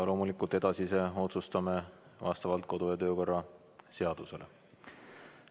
Loomulikult edasise otsustame vastavalt kodu- ja töökorra seadusele.